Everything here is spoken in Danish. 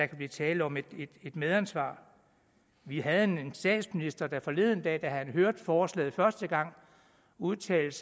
kan blive tale om et medansvar vi havde en statsminister der forleden dag da han hørte forslaget første gang udtalte